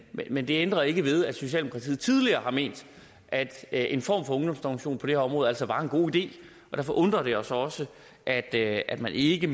men det ændrer ikke ved at socialdemokratiet tidligere har ment at en form for ungdomsdomstol på det her område altså var en god idé og derfor undrer det os også at at man ikke